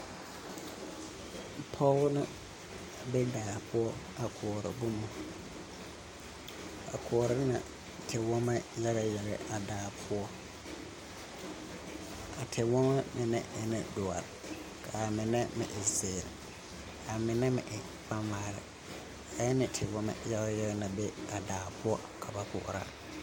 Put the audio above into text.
Pɔge ne be daa poɔ a koɔrɔ boma, a koɔrɔ ŋa tewɔma yagayaga a daa poɔ, a tewɔma mine e ne doɔre, ka mine e zeere, ka mine meŋ e kabala a e ne tewɔma yagayaga na be a daa poɔ ka ba koɔrɔ.